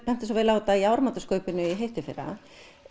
benti svo vel á þetta í áramótaskaupinu í hitteðfyrra